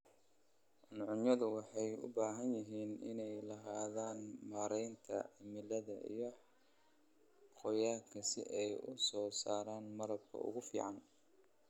Cuncunyadu waxay u baahan yihiin inay lahaadaan maareynta cimilada iyo qoyaanka si ay u soo saaraan malabka ugu fiican.